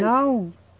Não.